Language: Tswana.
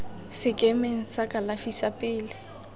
sekemeng sa kalafi sa pele